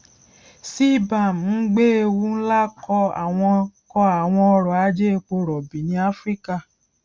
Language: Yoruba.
cbam ń gbé ewu ńlá kọ àwọn kọ àwọn ọrọ ajé epo rọbì ní áfíríkà